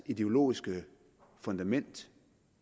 ideologiske fundament